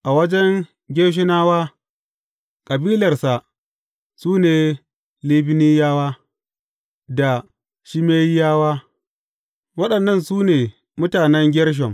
A wajen Gershonawa, kabilarsa su ne Libniyawa, da Shimeyiyawa; waɗannan su ne mutanen Gershom.